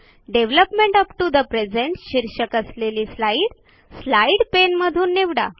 development up to the present शीर्षक असलेली slide slide पाने मधून निवडा